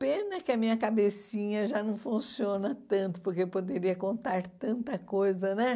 Pena que a minha cabecinha já não funciona tanto, porque eu poderia contar tanta coisa, né?